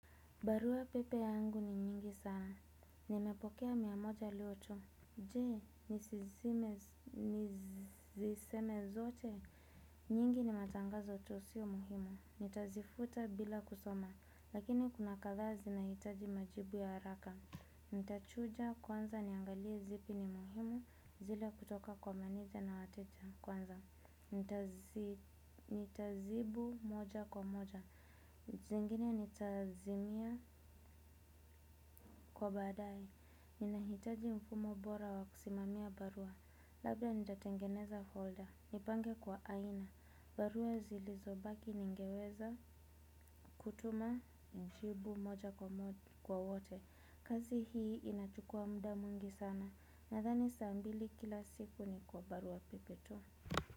Baruapepe yangu ni nyingi sana. Nimepokea mia moja leo tu. Jee, niziseme zote. Nyingi ni matangazo tu siyo muhimu. Nitazifuta bila kusoma. Lakini kuna kadhaa zinahitaji majibu ya haraka. Nitachuja kwanza niangalie zipi ni muhimu. Zile kutoka kwa meneja na wateja kwanza. Nitazibu moja kwa moja. Zingine nitazimie kwa badai. Ninahitaji mfumo bora wa kusimamia barua. Labda nitatengeneza folder. Nipange kwa aina. Barua zilizobaki ningeweza kutuma. Nijibu moja kwa wote. Kazi hii inachukua muda mwingi sana. Nadhani saa mbili kila siku ni kwa barua pepe tu.